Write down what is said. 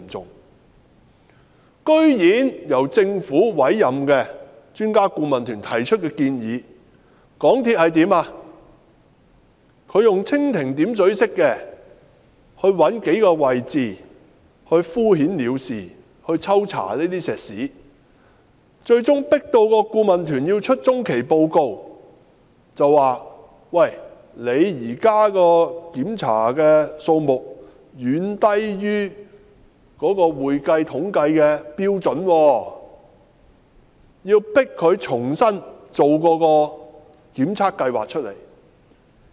然而，對於由政府委任的專家顧問團提出的建議，港鐵公司居然以蜻蜓點水式的方法，找出數個位置抽查混凝土，敷衍了事，最終迫使顧問團發出中期報告，指港鐵公司現時檢查的數目遠低於會計統計的標準，要求迫使港鐵公司重新制訂一份檢測計劃。